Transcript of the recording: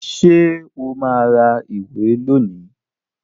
Ṣé o máa ra ìwé rẹ lónìí